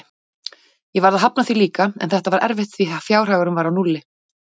Ég varð að hafna því líka, en þetta var erfitt því fjárhagurinn var á núlli.